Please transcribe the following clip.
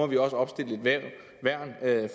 vi også opstille et værn